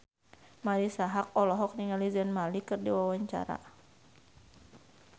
Marisa Haque olohok ningali Zayn Malik keur diwawancara